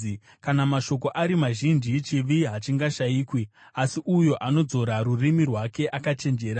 Kana mashoko ari mazhinji, chivi hachingashayikwi, asi uyo anodzora rurimi rwake akachenjera.